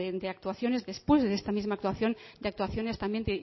de actuaciones después de esta misma actuación de actuaciones también